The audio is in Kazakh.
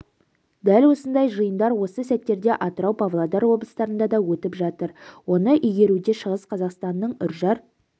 дәл осындай жиындар осы сәттерде атырау павлодар облыстарында да өтіп жатыр оны игеруде шығыс қазақстанның үржар